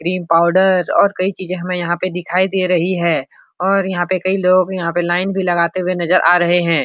Cream powder और कई चीज़े हमें यहाँ पर दिखाई दे रही है और यहाँ पर कई लोग यहाँ पे लाइन भी लगाते हुए नजर आ रहे हैं।